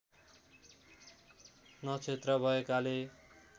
नक्षत्र भएकाले